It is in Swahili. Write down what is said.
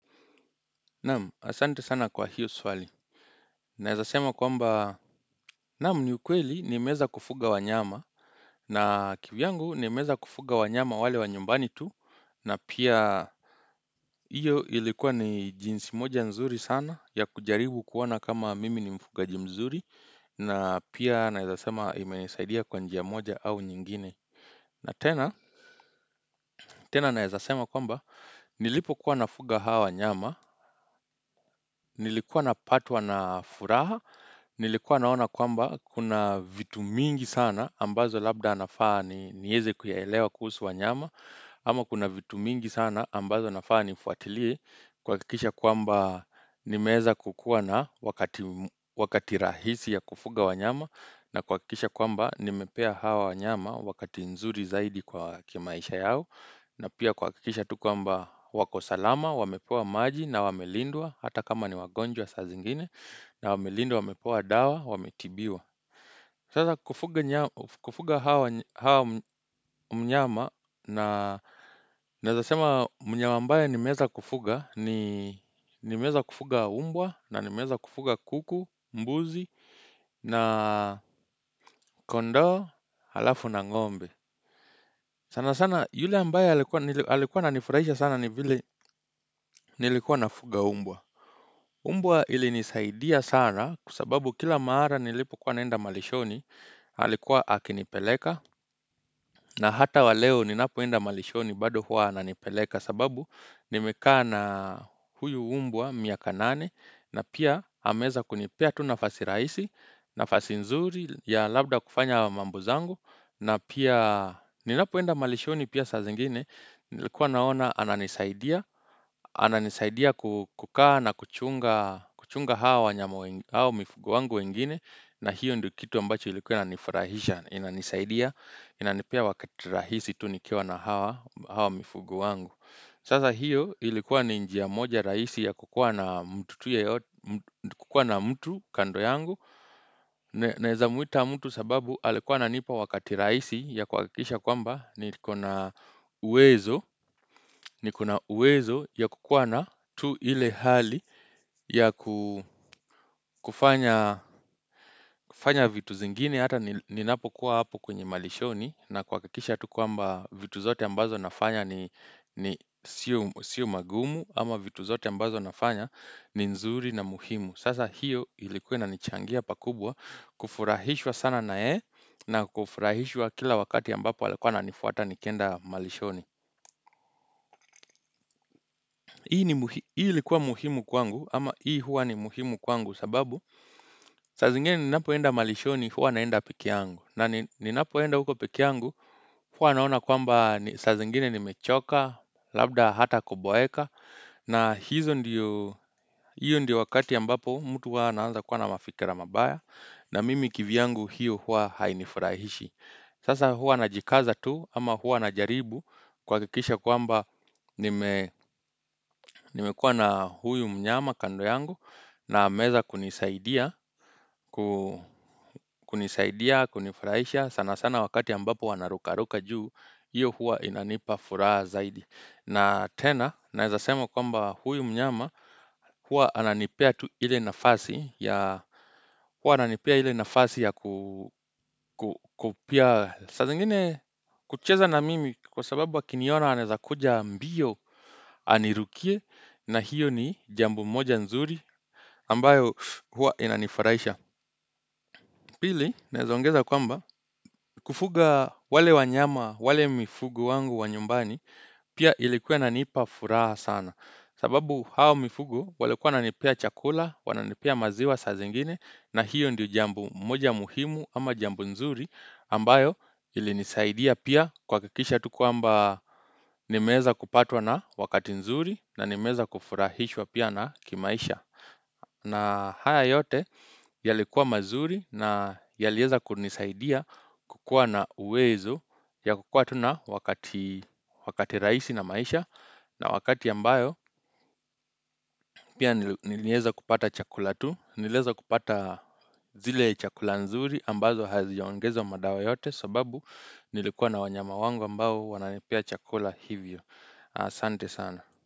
Naam, asante sana kwa hiyo swali. Naezasema kwamba, naam ni ukweli nimeeza kufuga wanyama na kivyangu nimeeza kufuga wanyama wale wa nyumbani tu na pia iyo ilikuwa ni jinsi moja nzuri sana ya kujaribu kuona kama mimi ni mfugaji mzuri na pia naezasema imesaidia kwa njia moja au nyingine. Na tena, tena naezasema kwamba, nilipokuwa nafuga hawa wanyama, nilikuwa napatwa na furaha, nilikuwa naona kwamba kuna vitu mingi sana ambazo labda nafaa nieze kuyaelewa kuhusu wanyama, ama kuna vitu mingi sana ambazo nafaa nifuatiliye, kuhakikisha kwamba nimeeza kukuwa na wakati rahisi ya kufuga wanyama, na kuhakikisha kwamba nimepea hawa wanyama wakati nzuri zaidi kwa kimaisha yao. Na pia kuhakikisha tu kwamba wako salama, wamepewa maji na wamelindwa hata kama ni wagonjwa saa zingine na wamelindwa, wamepwa dawa, wametibiwa. Sasa kufuga hawa mnyama na naezasema mnyama ambaye nimeza kufuga, ni nimeeza kufuga mbwa na nimeeza kufuga kuku, mbuzi na kondoo halafu na ng'ombe. Sana sana yule ambaye alikuwa ananifurahisha sana ni vile nilikuwa nafuga mbwa. Mbwa ilinisaidia sana kwa sababu kila mara nilipokuwa naenda malishoni alikuwa akinipeleka. Na hata wa leo ninapoenda malishoni bado huwa ananipeleka sababu nimekaa na huyu mbwa miaka nane. Na pia ameeza kunipea tu nafasi rahisi nafasi nzuri ya labda kufanya mambo zangu. Na pia, ninapoenda malishoni pia saa zingine, nilikuwa naona ananisaidia Ananisaidia kukaa na kuchunga hawa mifugo wangu wengine na hiyo ndio kitu ambacho ilikuwa inanifurahisha, inanisaidia inanipea wakati rahisi tu nikiwa na hawa mifugo wangu Sasa hiyo ilikuwa ni njia moja rahisi ya kukua na mtu kando yangu Naeza mwita mtu sababu alikuwa ananipa wakati rahisi ya kuhakikisha kwamba niko na uwezo ya kukuwa na tu ile hali ya kufanya vitu zingine hata ninapokuwa hapo kwenye malishoni na kuhakikisha tu kwamba vitu zote ambazo nafanya ni sio magumu ama vitu zote ambazo nafanya ni nzuri na muhimu Sasa hiyo ilikuwa inanichangia pakubwa kufurahishwa sana na yeye na kufurahishwa kila wakati ambapo alikuwa ananifuata nikienda malishoni Hii ilikuwa muhimu kwangu ama hii huwa ni muhimu kwangu sababu saa zingine ninapoenda malishoni huwa naenda pekee yangu na ninapoenda huko pekee yangu huwa naona kwamba saa zingine nimechoka Labda hata koboeka na hiyo ndiyo wakati ambapo mtu huwa anaanza kuwa na mafikira mabaya na mimi kivyangu hiyo hua hainifurahishi Sasa hua najikaza tu ama hua najaribu kuhakikisha kwamba nimekua na huyu mnyama kando yangu na ameeza kunisaidia, kunisaidia, kunifurahisha sana sana wakati ambapo wanarukaruka juu hiyo hua inanipa furaha zaidi na tena naezasema kwamba huyu mnyama hua ananipea ile nafasi ya hua ananipea ile nafasi ya. Saa zingine kucheza na mimi kwa sababu akiniona anaezakuja mbio anirukie na hiyo ni jambo moja nzuri ambayo hua inanifarahisha. Pili naezaongeza kwamba kufuga wale wanyama, wale mifugo wangu wa nyumbani pia ilikuwa inanipa furaha sana. Sababu hao mifugo walikua wananipea chakula, wananipea maziwa saa zingine na hiyo ndiyo jambo moja muhimu ama jambo nzuri ambayo ilinisaidia pia kuhakikisha tu kwamba nimeeza kupatwa na wakati nzuri na nimeeza kufurahishwa pia na kimaisha. Na haya yote yalikuwa mazuri na yalieza kunisaidia kukua na uwezo ya kukua tu na wakati rahisi na maisha na wakati ambayo pia nilieza kupata chakula tu. Nilieza kupata zile chakula nzuri ambazo haziojaongezwa madawa yoyote sababu nilikuwa na wanyama wangu ambao wananipea chakula hivyo. Asante sana.